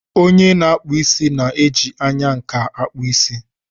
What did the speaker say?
Onye na-akpụ isí na-eji anya nkà akpụ isí.